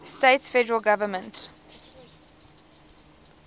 states federal government